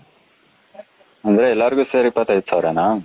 ಅಂದ್ರೆ ಎಲ್ಲರಿಗೂ ಸೇರಿ ಇಪತು ಐದು ಸಾವಿರ ನ